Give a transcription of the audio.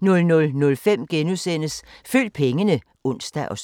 * 00:05: Følg pengene *(søn og